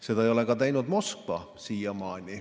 Seda ei ole siiamaani teinud ka Moskva.